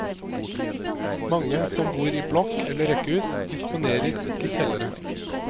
Mange som bor i blokk eller rekkehus, disponerer ikke kjellere.